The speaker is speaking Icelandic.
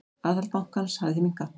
Aðhald bankans hafi því minnkað.